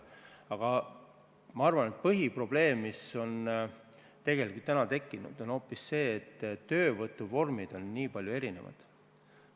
Aga ma arvan, et põhiprobleem, mis tegelikult täna on tekkinud, on hoopis see, et töövõtuvormid on niivõrd erinevad.